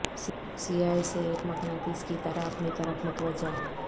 سیاح اسے ایک مقناطیس کی طرح اپنی طرف متوجہ